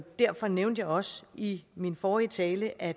derfor nævnte jeg også i min forrige tale at